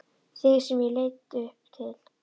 Þig sem ég leit upp til.